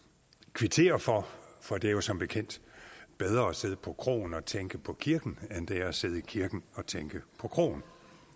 kvittere for for det er jo som bekendt bedre at sidde på kroen og tænke på kirken end det er at sidde i kirken og tænke på kroen